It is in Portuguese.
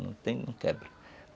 Não tem, não quebra.